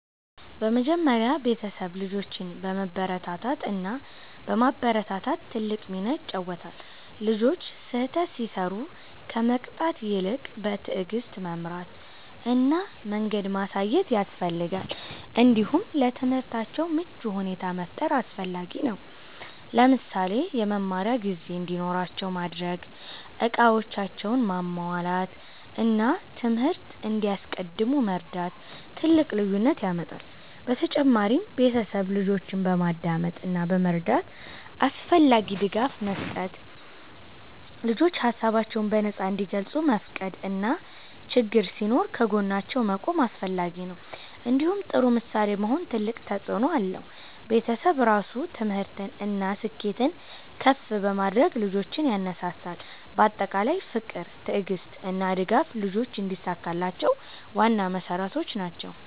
በመጀመሪያ ቤተሰብ ልጆችን በመበረታታት እና በማበረታታት ትልቅ ሚና ይጫወታል። ልጆች ስህተት ሲሰሩ ከመቅጣት ይልቅ በትዕግስት መምራት እና መንገድ ማሳየት ያስፈልጋል። እንዲሁም ለትምህርታቸው ምቹ ሁኔታ መፍጠር አስፈላጊ ነው። ለምሳሌ የመማሪያ ጊዜ እንዲኖራቸው ማድረግ፣ እቃዎቻቸውን ማሟላት እና ትምህርት እንዲያስቀድሙ መርዳት ትልቅ ልዩነት ያመጣል። በተጨማሪም ቤተሰብ ልጆችን በማዳመጥ እና በመረዳት አስፈላጊ ድጋፍ መስጠት። ልጆች ሀሳባቸውን በነፃ እንዲገልጹ መፍቀድ እና ችግኝ ሲኖር ከጎናቸው መቆም አስፈላጊ ነው። እንዲሁም ጥሩ ምሳሌ መሆን ትልቅ ተፅእኖ አለው። ቤተሰብ ራሱ ትምህርትን እና ስኬትን ከፍ በማድረግ ልጆችን ያነሳሳል። በአጠቃላይ ፍቅር፣ ትዕግስት እና ድጋፍ ልጆች እንዲሳካላቸው ዋና መሠረቶች ናቸው።